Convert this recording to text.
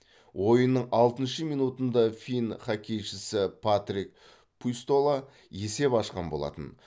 ойынның алтыншы минутында финн хоккейшісі патрик пуйстола есеп ашқан болатын